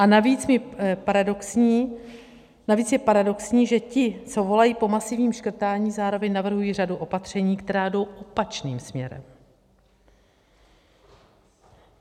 A navíc je paradoxní, že ti, co volají po masivním škrtání, zároveň navrhují řadu opatření, která jdou opačným směrem.